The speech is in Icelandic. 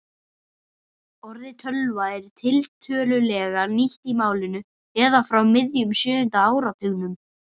Orðið tölva er tiltölulega nýtt í málinu eða frá miðjum sjöunda áratugnum.